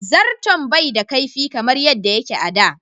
Zarton bai da kaifi kamar yadda yake a da.